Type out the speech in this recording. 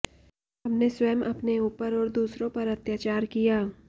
हमने स्वयं अपने ऊपर और दूसरों पर अत्याचार किया